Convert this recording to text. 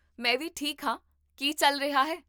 ਮੈਂ ਵੀ ਠੀਕ ਹਾਂ ਕੀ ਚੱਲ ਰਿਹਾ ਹੈ?